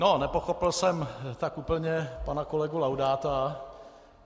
No, nepochopil jsem tak úplně pana kolegu Laudáta.